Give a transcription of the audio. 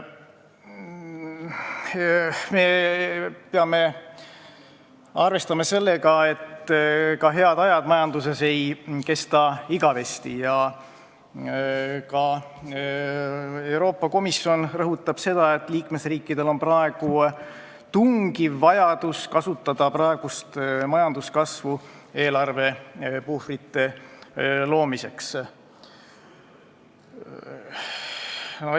Me peame arvestama sellega, et head ajad majanduses ei kesta igavesti, ja ka Euroopa Komisjon rõhutab seda, et liikmesriikidel on praegu tungiv vajadus kasutada praegust majanduskasvu eelarvepuhvrite loomiseks.